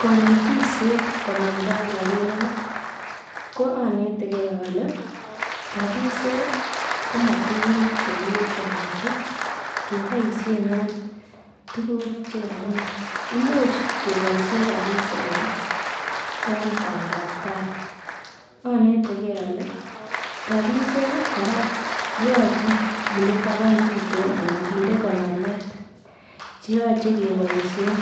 Kanetishet konamgei ak rapinik ko anetegei ale rapishek komatukuk chekiwechowechi keboishen en tukuk chekakimach imuuch keboishe rapishek kora en badaptai anetegei ale rapishek kora koyochei kinde taban tutin anan kinde konorwet cheyochei keboishen